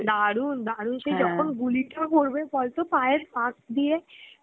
দারুন দারুন সেই যখন গুলিটা করবে বলতো পায়ের পাশ দিয়ে